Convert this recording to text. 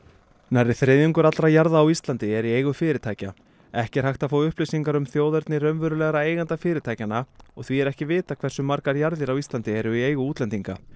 nærri þriðjungur allra jarða á Íslandi er í eigu fyrirtækja ekki er hægt að fá upplýsingar um þjóðerni raunverulegra eigenda fyrirtækjanna og því er ekki vitað hversu margar jarðir á Íslandi eru í eigu útlendinga